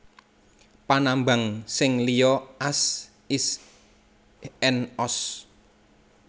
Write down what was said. Panambang sing liya az is and oz